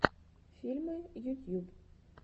фильмы ютьюб